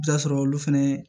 I bi t'a sɔrɔ olu fɛnɛ